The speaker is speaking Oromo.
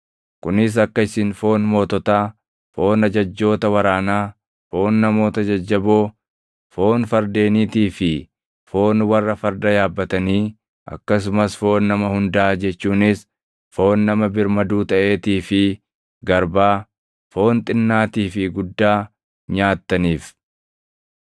kunis akka isin foon moototaa, foon ajajjoota waraanaa, foon namoota jajjaboo, foon fardeeniitii fi foon warra farda yaabbatanii akkasumas foon nama hundaa jechuunis foon nama birmaduu taʼeetii fi garbaa, foon xinnaatii fi guddaa nyaattaniif.”